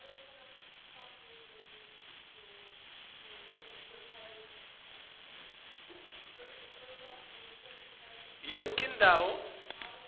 sisabalala yonkhe indzawo